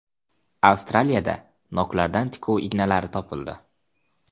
Avstraliyada noklardan tikuv ignalari topildi.